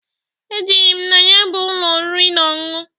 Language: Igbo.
Ejere m na ya bụ ụlọ oriri na ọṅụṅụ.